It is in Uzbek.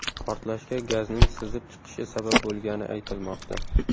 Portlashga gazning sizib chiqishi sabab bo‘lgani aytilmoqda.